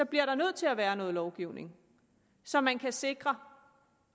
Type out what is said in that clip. bliver nødt til at være noget lovgivning så man kan sikre